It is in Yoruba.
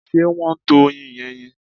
Ṣé wọ́n ń tọ oyin yẹn ni?